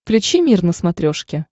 включи мир на смотрешке